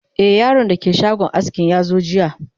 e Yaron da ke shagon askin yazo jiya